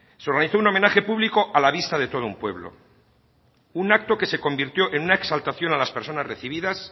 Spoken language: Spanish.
se organizó un homenaje público a la vista de todo un pueblo un acto que se convirtió en una exaltación a las personas recibidas